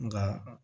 Nka